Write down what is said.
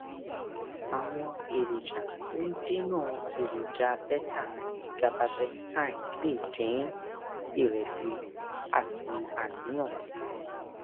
àwọn èròjà tó ń dènà èròjà beta àti gabapentine lè dín ìrẹsì àti àníyàn kù